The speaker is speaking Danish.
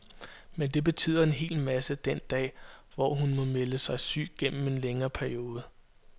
Men det betyder en hel masse den dag, hvor hun må melde sig syg gennem en længere periode.